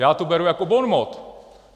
- Já to beru jako bonmot.